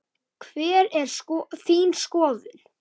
Hver er þín skoðun?